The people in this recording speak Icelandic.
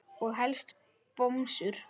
Og helst bomsur.